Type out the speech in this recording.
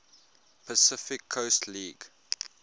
pacific coast league